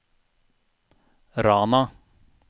Rana